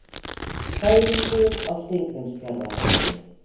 Þæfingur á Steingrímsfjarðarheiði